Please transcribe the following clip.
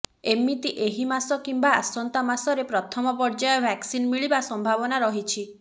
ଏମିତି ଏହି ମାସ କିମ୍ବା ଆସନ୍ତା ମାସରେ ପ୍ରଥମ ପର୍ଯ୍ୟାୟ ଭାକ୍ସିନ ମିଳିବା ସମ୍ଭାବନା ରହିଛି